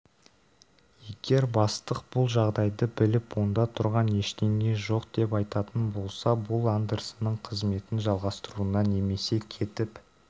егер бастық бұл жағдайды біліп онда тұрған ештеңе жоқ деп айтатын болса бұл андерсонның қызметін жалғастыруына немесе кетіп